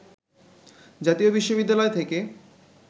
জাতীয় বিশ্ববিদ্যালয় থেকে